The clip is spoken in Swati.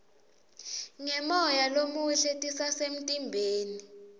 ngemoya lomuhle titasemtimbeni